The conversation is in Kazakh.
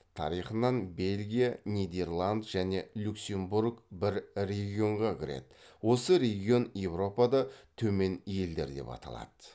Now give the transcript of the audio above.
тарихынан белгия нидерланд және люксембург бір регионға кіреді осы регион еуропада төмен елдер деп аталады